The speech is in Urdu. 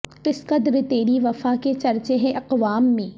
کس قدر تیری وفا کے چرچے ہیں اقوام میں